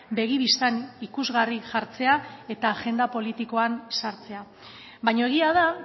begi bistan ikusgarri jartzea eta agenda politikoan sartzea baina egia da